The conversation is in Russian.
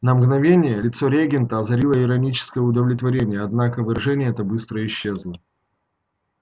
на мгновение лицо регента озарило ироническое удовлетворение однако выражение это быстро исчезло